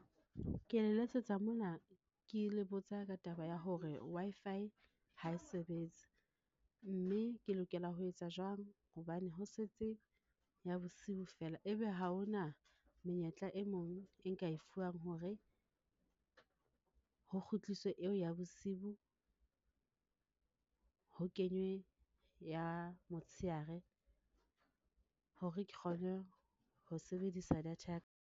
Ke le letsetsa mona, ke le botsa ka taba ya hore Wi-Fi ha e sebetse mme ke lokela ho etsa jwang hobane ho setse ya bosiu feela, ebe ha hona menyetla e mong e nka e fuwang hore ho kgutliswe eo ya bosiu ho kenywe ya motsheare, hore ke kgone ho sebedisa data ya ka.